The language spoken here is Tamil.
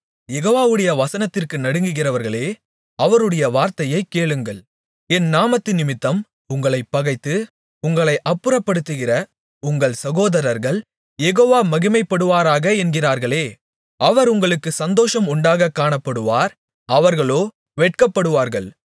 யெகோவாவுடைய வசனத்திற்கு நடுங்குகிறவர்களே அவருடைய வார்த்தையைக் கேளுங்கள் என் நாமத்தினிமித்தம் உங்களைப் பகைத்து உங்களை அப்புறப்படுத்துகிற உங்கள் சகோதரர்கள் யெகோவா மகிமைப்படுவாராக என்கிறார்களே அவர் உங்களுக்குச் சந்தோஷம் உண்டாக காணப்படுவார் அவர்களோ வெட்கப்படுவார்கள்